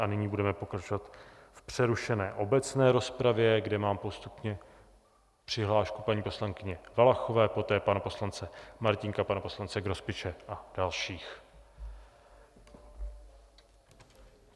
A nyní budeme pokračovat v přerušené obecné rozpravě, kde mám postupně přihlášku paní poslankyně Valachové, poté pana poslance Martínka, pana poslance Grospiče a dalších.